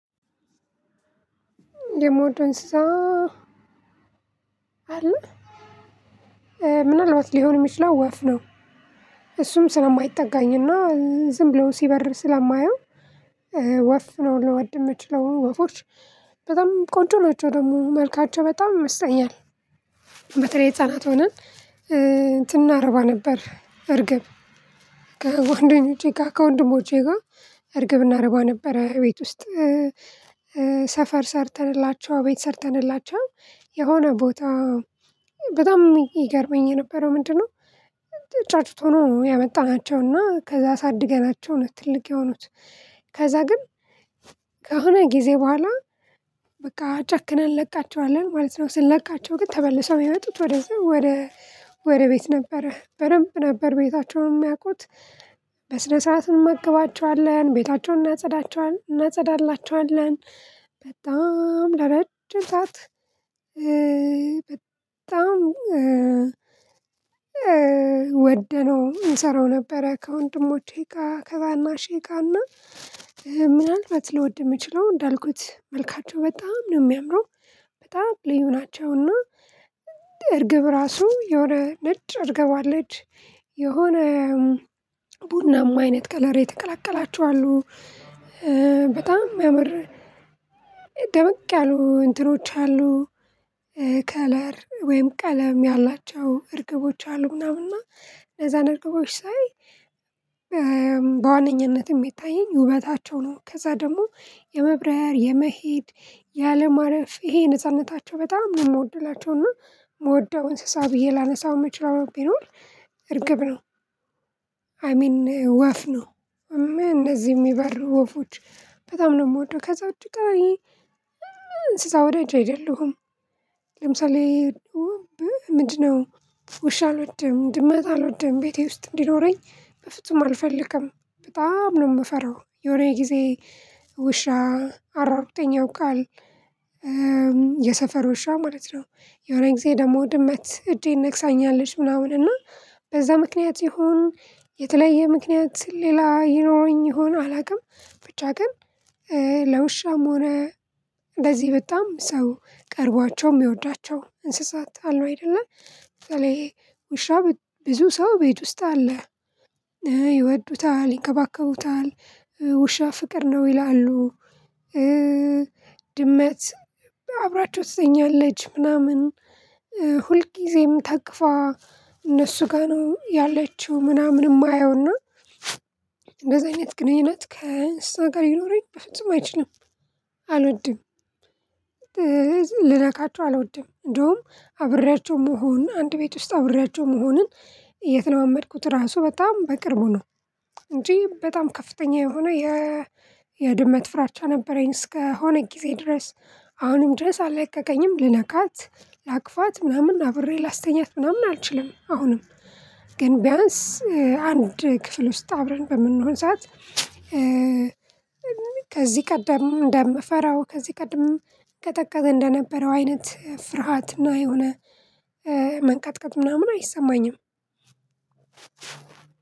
የምወደው እንስሳ አለ ምናልባት ሊሆን የሚችለው ወፍ ነው። እሱም ስለማይጠጋኝና ዝም ብሎ ሲበር ስለማየው። ወፍ ነው ልወድ የምችለው ወፎች በጣም ቆንጆ ናቸው ደግሞ መልካቸው በጣም ይመስጠኛል። በተለይ ህፃናት ሆነን እንትን እናረባ ነበር እርግብ ከጓደኞቼ ጋር ከወንድሞቼ ጋር እርግብ እናረባ ነበረ ቤት ውስጥ። ሰፈር ሰርተንላቸው ቤት ሰርተንላቸው የሆነ ቦታ በጣም ይገርመኝ የነበረው ምንድነው? ጫጩት ሆኖ ያመጣናቸውና ከዛ አሳድገናቸው ነው ትልቅ የሆኑት። ከዛ ግን ከሆነ ጊዜ በኋላ በቃ ጨክነን እንለቃቸዋለን ማለት ነው። ስለቃቸው ግን ተመልሰው የሚመጡት ወደዛ ወደ ወደ ቤት ነበረ በደንብ ነበር ቤታቸውን የሚያውቁት። በስነ ስርዓት እንመገባቸዋለን ቤታቸውን እናጸዳቸዋለን እናጸዳላቸዋለን። ለረጅም ሰዓት በጣም ወደነው እንሰራው ነበረ። ከወንድሞቼ ጋር ከታናሼ ጋር እና ምናልባት ልወድ የምችለው እንዳልኩት መልካቸው በጣም ነው የሚያምረው። በጣም ልዩ ናቸውና። እርግብ ራሱ የሆነ ነጭ እርግብ አለች። የሆነ አይነት ከለር የተቀላቀላቸው አሉ። በጣም ሚያምር ያሉ እንትኖች አሉ። ከለር ወይም ቀለም ያላቸው እርግቦች አሉ ምናምንና ለዛን እርግቦች ሳይ። በዋነኝነት የሚታየኝ ውበታቸው ነው ከዛ ደግሞ የመብራያር የመሄድ ያለማረፍ ይሄ ነጻነታቸው በጣም ነው የምወድላቸው። እና የምወደው እንስሳ ብዬ ላነሳው መችለው ቢኖር እርግብ ነው። አይ ሚን ወፍ ነው። እንደዚህ የሚባሉ ወፎች በጣም ነው የምወደው ከዛ እጅግ ቀሪ እንስሳ ወዳጅ አይደለሁም። ለምሳሌ ምንድነው? ውሻ አልወድም ድመት አልወድም ቤቴ ውስጥ እንዲኖረኝ በፍጹም አልፈልግም። በጣም ነው የምፈራው የሆነ ጊዜ ውሻ አሯርጦኝ ያውቃል። የሰፈር ውሻ ማለት ነው። የሆነ ጊዜ ደግሞ ድመት እጄን ነክሳኛለች ምናምን እና በዛ ምክንያት ይሁን የተለየ ምክንያት ሌላ ይኖረኝ ይሆን አላውቅም። ብቻ ግን ለውሻም ሆነ እንደዚህ በጣም ሰው ቀርቧቸው የሚወዳቸው እንስሳት አሉ። አይደለ በተለይ ውሻ ብዙ ሰው ቤት ውስጥ አለ ይወዱታል ይከባከቡታል ውሻ ፍቅር ነው ይላሉ። ድመት አብራቸው ትተኛለች ምናምን ሁልጊዜም ታቅፋ እነሱ ጋር ነው ያለችው ምናምን የማየውና። እንደዚህ አይነት ግንኙነት ከእንስሳ ጋር ይኖረኝ በፍጹም አይችልም። አልወድም። ልነካቸው አልወድም እንደውም አብሬያቸው መሆን አንድ ቤት ውስጥ አብሬያቸው መሆንን የተለማመድኩት ራሱ በጣም በቅርቡ ነው። እንጂ በጣም ከፍተኛ የሆነ የ የድመት ፍራቻ ነበረኝ እስከሆነ ጊዜ ድረስ አሁንም ድረስ አላቀቀኝም። ልነካት ላቅፋት ምናምን አብሬ ላስተኛት ምናምን አልችልም። አሁንም ግን ቢያንስ አንድ ክፍል ውስጥ አብረን በምንሆን ሰዓት ከዚህ ቀደም እንደምፈራው ከዚህ ቀድም እንጠቀቀ እንደነበረው አይነት ፍርሃትና የሆነ መንቀጥቀጥ ምናምን አይሰማኝም።